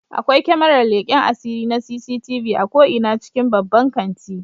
Akwai kyamarar leken asiri na CCTV a ko'ina cikin babban kanti